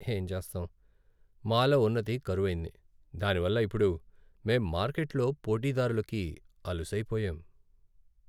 ఏం చేస్తాం, మాలో ఉన్నతి కరువైంది, దానివల్ల ఇప్పుడు మేం మార్కెట్లో పోటీదారులకి అలుసైపోయాం.